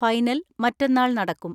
Final മറ്റന്നാൾ നടക്കും.